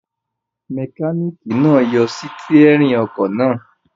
Mẹkáníkì náà yọ sítẹ́rínì ọkọ̀ náà.